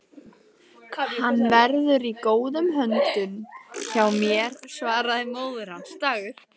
Hann verður í góðum höndum hjá mér svaraði móðir hans.